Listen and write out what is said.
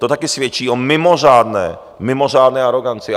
To také svědčí o mimořádné, mimořádné aroganci!